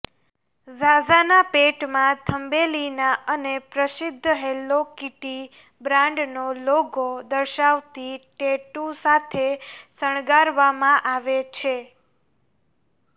ઝાઝાના પેટમાં થંબેલીના અને પ્રસિદ્ધ હેલો કીટી બ્રાન્ડનો લોગો દર્શાવતી ટેટૂ સાથે શણગારવામાં આવે છે